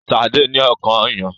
Sade ní akàn ọyàn